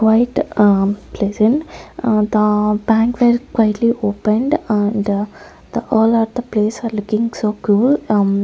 white a place in the bank were quietly opened and the the all are the place are looking so cool --